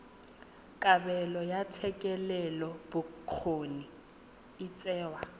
kabelo ya thetelelobokgoni e tsewa